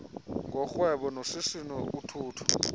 ngorhwebo noshishino uthutho